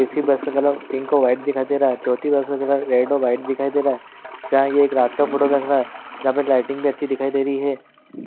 तीसरी बस का colour pink और व्हाइट दिखाई दे रहा चौथी बस का कलर रेड और व्हाइट दिखाई दे रहा जहां यह रात का फोटो लग रहा है यहाँ पे लाइटिंग भी अच्छी दिखाई दे रही है।